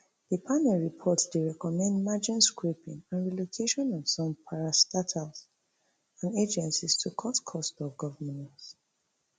di panel report dey recommend merging scraping and relocation of some parastatals and agencies to cut cost of governance